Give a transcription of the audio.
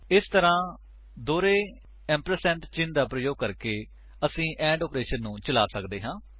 ਇਸ ਤਰ੍ਹਾਂ ਦੋਹਰੇ ਏੰਪਰਸੇਂਡ ਚਿੰਨ੍ਹ ਦਾ ਪ੍ਰਯੋਗ ਕਰਕੇ ਅਸੀ ਐਂਡ ਆਪਰੇਸ਼ਨ ਨੂੰ ਚਲਾ ਸੱਕਦੇ ਹਾਂ